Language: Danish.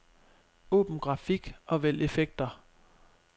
Åbn grafik og vælg effekter.